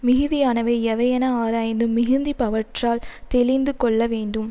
மிகுதியானவை எவையென ஆராய்ந்து மிகுந்திப்பவற்றால் தெளிந்து கொள்ள வேண்டும்